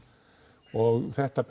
og þetta